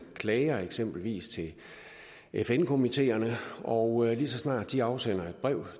klager eksempelvis til fn komiteerne og lige så snart de afsender et brev